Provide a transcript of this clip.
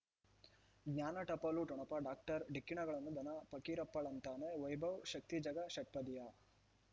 ಜ್ಞಾನ ಟಪಾಲು ಠೊಣಪ ಡಾಕ್ಟರ್ ಢಿಕ್ಕಿ ಣಗಳನು ಧನ ಫಕೀರಪ್ಪ ಳಂತಾನೆ ವೈಭವ್ ಶಕ್ತಿ ಝಗಾ ಷಟ್ಪದಿಯ